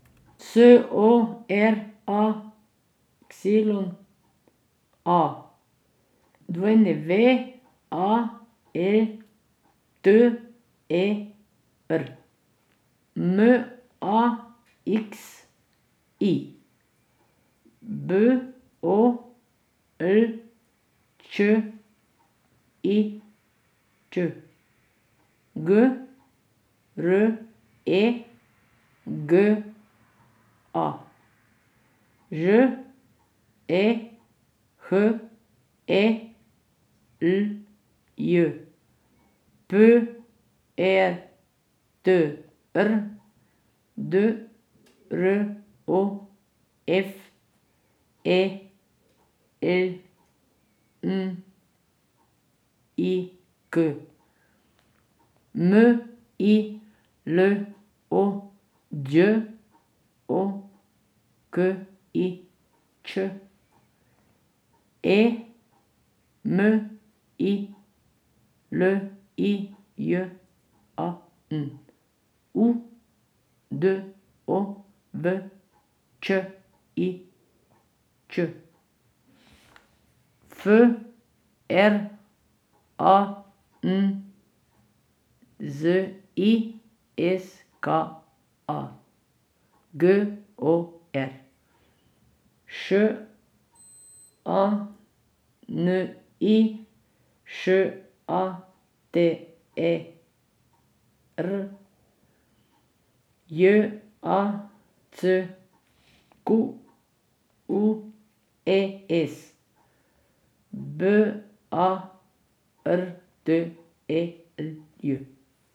S O R A Y A, W A E T E R; M A X I, B O L Č I Č; G R E G A, Ž E H E L J; P E T R, D R O F E L N I K; M I L O, Đ O K I Ć; E M I L I J A N, U D O V Č I Ć; F R A N Z I S K A, G O R; Š A N I, Š A T E R; J A C Q U E S, B A R T E L J.